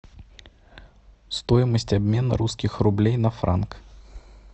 стоимость обмена русских рублей на франк